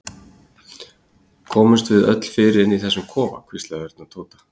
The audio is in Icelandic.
Komumst við öll fyrir inni í þessum kofa? hvíslaði Örn að Tóta.